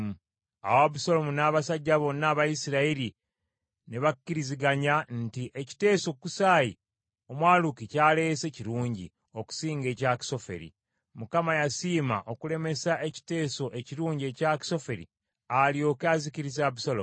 Awo Abusaalomu n’abasajja bonna aba Isirayiri ne bakkiriziganya nti, “Ekiteeso Kusaayi Omwaluki ky’aleese kirungi okusinga ekya Akisoferi.” Mukama yasiima okulemesa ekiteeso ekirungi ekya Akisoferi alyoke azikirize Abusaalomu.